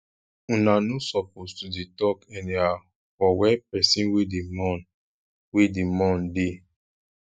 una no suppose to dey talk anyhow for where pesin wey dey mourn wey dey mourn dey